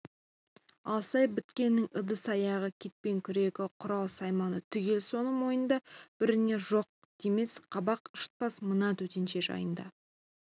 алсай біткеннің ыдыс-аяғы кетпен-күрегі құрал-сайманы түгел соның мойнында біріне жоқ демес қабақ шытпас мына төтенше жиында